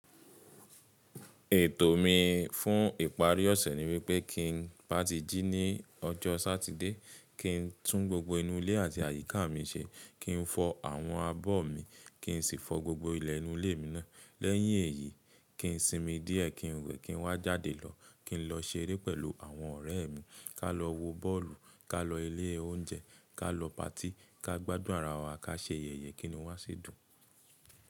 Ètò mi fún ìparí ọ̀sẹ̀ ni wípé kí n bá ti jí ní ọjọ́ Satide, kí n tún gbogbo inú ilé àti àyíká mi se, kí n fọ àwọn abọ́ mi, kí n sì fọ gbogbo ilẹ̀ inú ilé mi náà. Lẹ́yìn èyí, kí n sinmi díẹ́, kí n wẹ, kí n wá jáde lọ, kí n lọ ṣeré pẹ̀lú àwọn ọ̀rẹ́ mi, ká lọ wo bọ́ọ̀lù, ká lọ ilé oúnjẹ, ká lọ patí, ká gbádùn ara wa, ká se ayẹyẹ kí n wá sì dun.